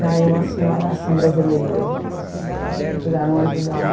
Daí uma senhora, ah, são brasileiras, tipo assim, sabe, não quiseram ajudar.